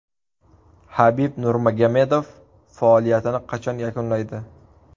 Habib Nurmagomedov faoliyatini qachon yakunlaydi?